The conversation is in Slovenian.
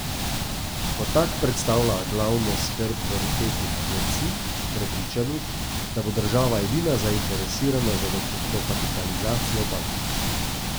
Ko tak predstavlja glavno skrb bonitetnih agencij, prepričanih, da bo država edina zainteresirana za dokapitalizacijo bank.